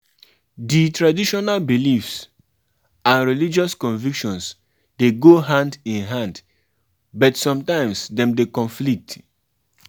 If children dey come di holiday with you, you go need to plan for dem